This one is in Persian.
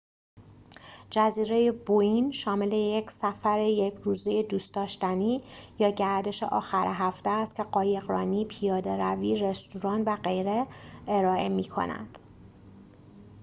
جزیره بووین شامل یک سفر یک روزه دوست‌داشتنی یا گردش آخر هفته است که قایق‌رانی پیاده‌روی رستوران و غیره ارائه می‌کند